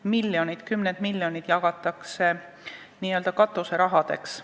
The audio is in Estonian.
Miljonid, lausa kümned miljonid jagatakse n-ö katuserahadeks.